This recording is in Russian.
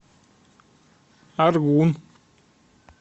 аргун